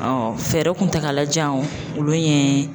fɛɛrɛ kuntagalajanw olu ye